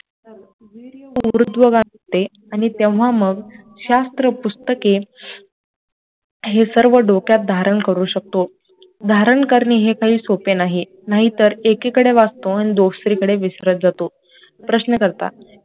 ऊर्ध्वगामी असते आणि तेव्हा मग शास्त्र पुस्तके हे सर्व डोक्यात धारण करू शकतो, धारण करणे हे काही सोपे नाही, नाहीतर एकीकडे वाचतो आणि दुसरीकडे विसरत जातो, प्रश्नकर्ता